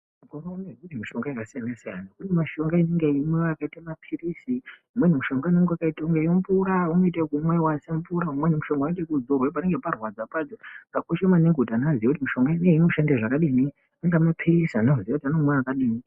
Mukore unowu kune mishonga yakasiyana siyana kune imweni mishonga inenge yeimwiwa yakaite maphirizi. Imweni mishonga inenge yakaite mvura yeimwiwa asi imvura. Imweni inoite yekudzorwa panenge parwadza pacho. Zvakakosha maningi kuti aziye kuti mishonga ineyi inoshande zvakadini, ari maphirizi anomwiwa zvakadini.